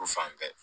U fan bɛɛ